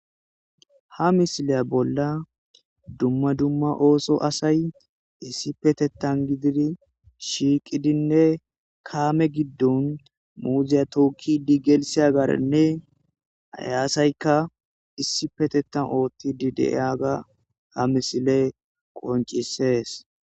Ha misile bolla dumma dumma ooso asay issi petettan gididi shiiqidinne kaame giddon muuziya tookki digelise agaarenne ayaasaykka issi petettan oothti di deiyaga ha misile qoncisees.